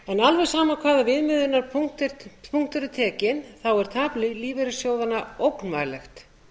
alveg sama hvaða viðmiðunarpunktur er tekinn er tap lífeyrissjóðanna ógnvænlegt